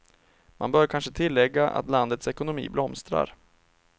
Man bör kanske tillägga att landets ekonomi blomstrar.